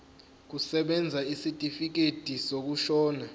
kusebenza isitifikedi sokushona